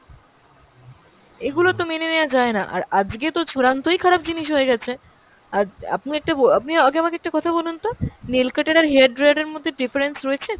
এগুলো তো মেনে নেওয়া যায় না, আর আজকে তো চূড়ান্তই খারাপ জিনিস হয়ে গেছে, অ্যাঁ আপনি একটা ব~ আপনি আগে আমাকে একটা কথা বলুন তো nail cuter আর hair dryer এর মধ্যে difference রয়েছে?